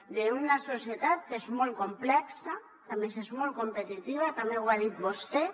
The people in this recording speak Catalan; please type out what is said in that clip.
vivim en una societat que és molt complexa que a més és molt competitiva també ho ha dit vostè